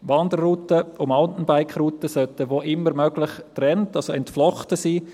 Wanderrouten und Mountainbike-Routen sollten, wo immer möglich, getrennt, also entflochten sein.